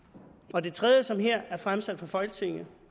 og det tredje som her er fremsat for folketinget